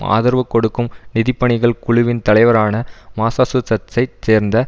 ஆதரவு கொடுக்கும் நிதிப்பணிகள் குழுவின் தலைவரான மாசாசுசட்ஸைச் சேர்ந்த